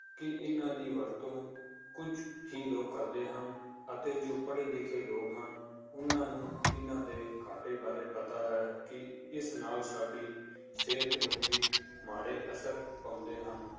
ਕਿ ਇਹਨਾਂ ਦੀ ਵਰਤੋਂ ਕੁੱਝ ਹੀ ਲੋਕ ਕਰਦੇ ਹਨ, ਅਤੇੇ ਜੋ ਪੜ੍ਹੇ ਲਿਖੇ ਲੋਕ ਹਨ ਉਹਨਾਂ ਨੂੰ ਇਹਨਾਂ ਦੇ ਘਾਟੇ ਬਾਰੇ ਪਤਾ ਹੈ ਕਿ ਇਸ ਨਾਲ ਸਾਡੀ ਸਿਹਤ ਨੂੰ ਵੀ ਮਾੜੇ ਅਸਰ ਪਾਉਂਦੇ ਹਨ,